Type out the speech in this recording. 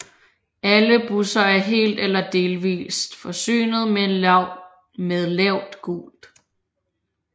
Alle busser er helt eller delvist forsynet med lavt gulv